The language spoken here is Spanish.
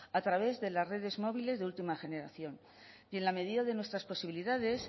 a través de las redes móviles de última generación y en la medida de nuestras posibilidades